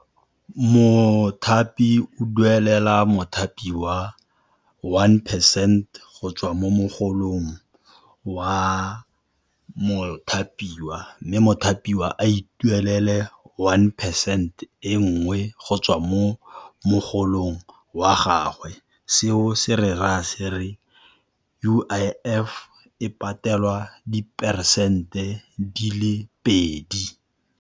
Mothapi o duelela mothapiwa one percent go tswa mo mogolong wa mothapiwa, mme mothapiwa a ituelele one percent e nngwe go tswa mo mogolong wa gagwe, seo se rera se re U_I_F e patelwa diperesente di le pedi.